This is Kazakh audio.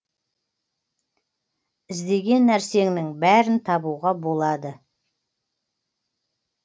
іздеген нәрсеңнің бәрін табуға болады